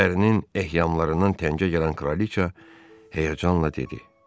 Ərinin ehyamlarından təngə gələn kraliça həyəcanla dedi: